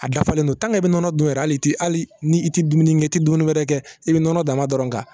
A dafalen don i bɛ nɔnɔ dun yɛrɛ hal'i tɛ hali ni i tɛ dumuni kɛ i tɛ dumuni wɛrɛ kɛ i bɛ nɔnɔ dama dɔrɔn kan